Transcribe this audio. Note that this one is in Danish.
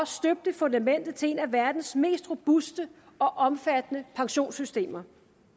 støbte fundamentet til et af verdens mest robuste og omfattende pensionssystemer